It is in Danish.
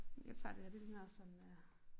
Jeg tager det her det ligner også sådan øh